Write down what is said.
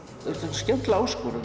skemmtileg áskorun